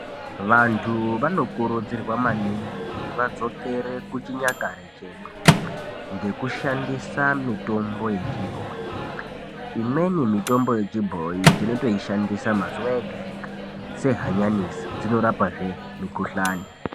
Vantu vanokurudzirwa maningi kuti vadzokere kuchinyakare chedu ngekushandisa mitombo yechibhoyi, imweni mitombo yechibhoyi tinotoishandisa mazuwa ega ega sehanyanisi dzinorapazve mikhuhlani.